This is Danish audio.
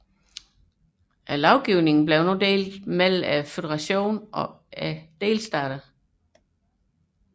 Lovgivningen blev nu delt mellem føderationen og delstaterne